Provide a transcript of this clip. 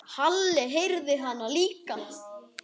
Halli heyrði hana líka.